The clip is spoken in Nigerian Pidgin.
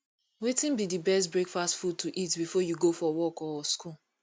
wetin be di best breakfast food to eat before you go for work or school